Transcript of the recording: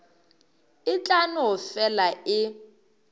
e tla no fela e